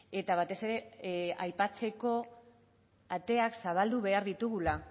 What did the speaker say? eta batez ere aipatzeko ateak zabaldu behar ditugula